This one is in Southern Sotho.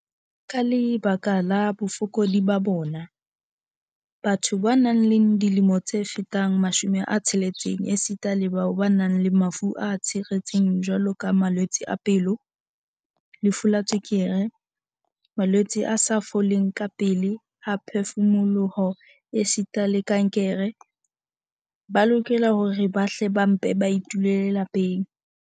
"Ka lebaka la bofokodi ba bona, batho ba nang le dilemo tse fetang 60 esita le bao ba nang le mafu a tshiretseng jwaloka malwetse a pelo, lefu la tswekere, malwetse a sa foleng kapele a phefumoloho esita le kankere, ba lokela hore ba hle ba mpe ba itulele lapeng."